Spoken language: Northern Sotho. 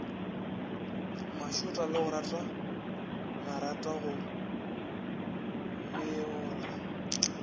mašota legare marata go beola